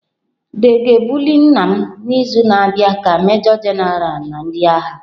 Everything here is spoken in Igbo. The ga-ebuli nna m n'izu na-abịa ka Major-General na ndị agha.